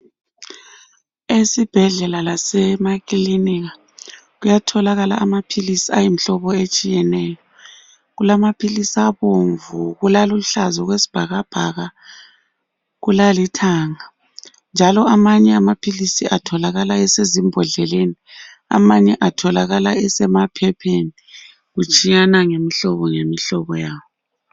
Esibhedlela lasemakilinika kuyatholakala amaphilisi ayimihlobo etshiyeneyo. Kulamaphilisi abomvu, kulaluhlaza okwesibhakabhaka kulalithanga njalo amanye amaphilisi atholakala esezimbodleleni, amanye atholakala esemaphepheni kutshiyana ngemihlobo ngemihlobo yawo.